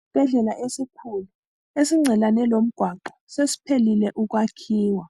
Isibhedlela esikhulu esingcelane lomgwaqo sesiphelile ukwakhiwa